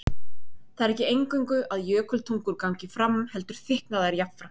Það er ekki eingöngu að jökultungur gangi fram heldur þykkna þær jafnframt.